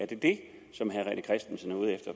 det det som herre